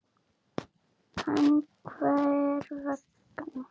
En hver vegna?